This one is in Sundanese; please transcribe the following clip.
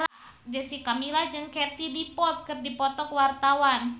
Jessica Milla jeung Katie Dippold keur dipoto ku wartawan